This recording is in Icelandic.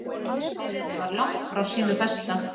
Liðið var langt frá sínu besta.